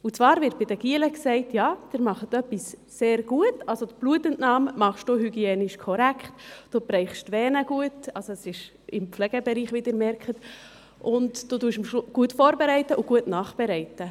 Und zwar hat man bei den Knaben zum Beispiel, wenn sie etwas sehr gut gemacht haben gesagt: «Also, die Blutentnahme machst du hygienisch korrekt, du triffst die Vene gut,» – es ist im Pflegebereich, wie Sie merken – «und du bereitest gut vor und gut nach.»